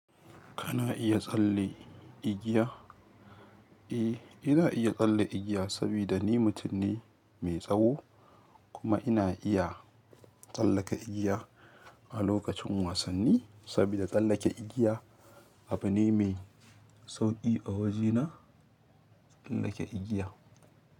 Kana iya tsalle igiya? Eh, ina iya tsalle igiya sabida ni mutum ne mae tsawo kuma ina iya tsallaka igiya a lokacin wasanni, sabida tsallake igiya abu ne me sauƙi a wajena tsallaka igiya.